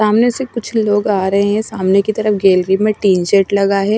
सामने से कुछ लोग आ रहे हैं सामने की तरफ गैलरी में टीनजेट लगा है।